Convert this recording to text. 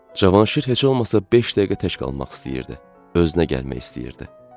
Cavanşir heç olmasa beş dəqiqə tək qalmaq istəyirdi, özünə gəlmək istəyirdi.